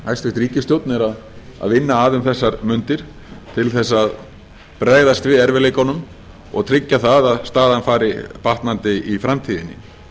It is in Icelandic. hæstvirt ríkisstjórn er að vinna að um þessar mundir til þess að bregðast við erfiðleikunum og tryggja að staðan fari batnandi í framtíðinni